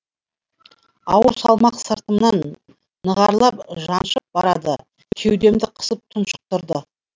ауыр салмақ сыртымнан нығарлап жаншып барады кеудемді қысып тұншықтырды